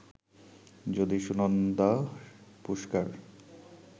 যদি সুনন্দা পুশকার